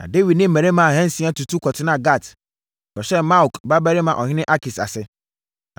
Na Dawid ne mmarima ahansia tutu kɔtenaa Gat kɔhyɛɛ Maok babarima ɔhene Akis ase.